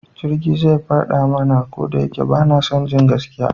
Jirgi zai fadi mana, ko da shike ban sani ba gaskiya